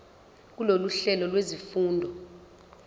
kulolu hlelo lwezifundo